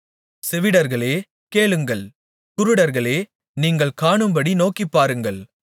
செவிடர்களே கேளுங்கள் குருடர்களே நீங்கள் காணும்படி நோக்கிப்பாருங்கள்